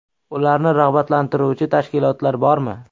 Ularni rag‘batlantiruvchi tashkilotlar bormi?